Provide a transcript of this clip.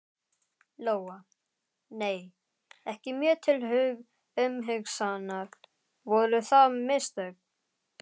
Lóa: Nei, ekki mjög til umhugsunar, voru það mistök?